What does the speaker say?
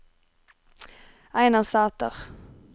Einar Sæther